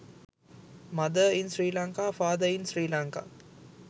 mother in sri lanka father in sri lanka